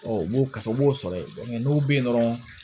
u b'o kasa u b'o sɔrɔ yen n'u bɛ yen dɔrɔn